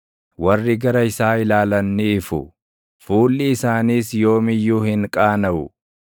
Warri gara isaa ilaalan ni ifu; fuulli isaaniis yoom iyyuu hin qaanaʼu.